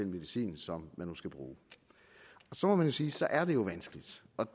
medicin som man nu skal bruge så må man sige at så er det jo vanskeligt